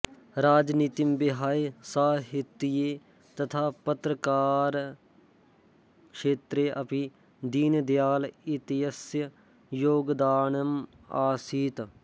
राजनीतिं विहाय साहित्ये तथा पत्रकारक्षेत्रेऽपि दीनदयाल इत्यस्य योगदानम् आसीत्